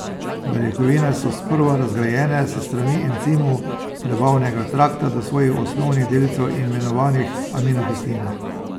Beljakovine so sprva razgrajene s strani encimov prebavnega trakta do svojih osnovnih delcev imenovanih aminokisline.